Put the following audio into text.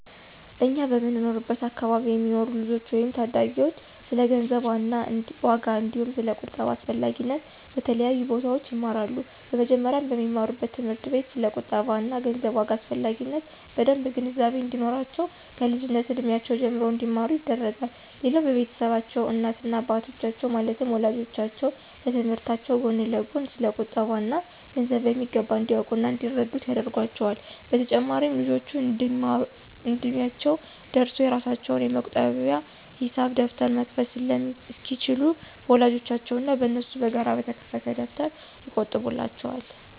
እኛ በምንኖርበት አከባቢ የሚኖሩ ልጆች ወይም ታዳጊዎች ስለ ገንዘብ ዋጋ አንዲሁም ስለ ቁጠባ አስፈላጊነት በተለያዩ ቦታዎች ይማራሉ። በመጀመሪያም በሚማሩበት ትምህርት ቤት ስለ ቁጠባ እና ገንዘብ ዋጋ አስፈላጊነት በደምብ ግንዛቤ እንዲኖራቸው ከልጅነት እድሜያቸው ጀምሮ እንዲማሩ ይደረጋል። ሌላው በቤታቸውም እናት እና አባቶቻቸው ማለትም ወላጆቻቸው ከትምህርታቸው ጎን ለጎን ስለ ቁጠባ እና ገንዘብ በሚገባ እንዲያውቁ እና እንዲረዱት ያደርጓቸዋል። በተጨማሪም ልጆቹ እድሚያቸው ደርሶ የራሳቸውን የመቆጠቢያ የሂሳብ ደብተር መክፈት እስኪችሉ በወላጆቻቸው እና በነሱ በጋራ በተከፈተ ደብተር ይቆጥቡላቸዋል።